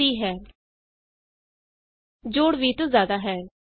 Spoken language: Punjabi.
sum of A and B is 30 ਜੋੜ 20 ਤੋਂ ਜਿਆਦਾ ਹੈ